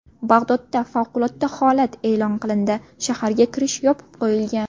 Bag‘dodda favqulodda holat e’lon qilindi, shaharga kirish yopib qo‘yilgan.